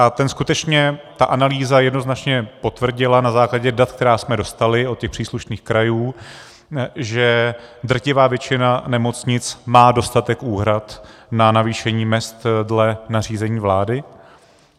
A ten skutečně, ta analýza jednoznačně potvrdila na základě dat, která jsme dostali od těch příslušných krajů, že drtivá většina nemocnic má dostatek úhrad na navýšení mezd dle nařízení vlády.